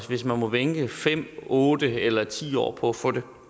hvis man må vente i fem otte eller ti år på at få det for